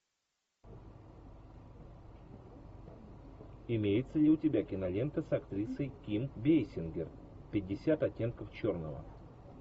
имеется ли у тебя кинолента с актрисой ким бейсингер пятьдесят оттенков черного